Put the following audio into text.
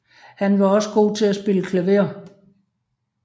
Han var også god til at spille klaver